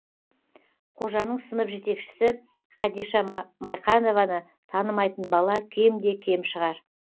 қожаның сынып жетекшісі хадиша майқанованы танымайтын бала кем де кем шығар